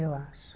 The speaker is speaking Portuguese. Eu acho.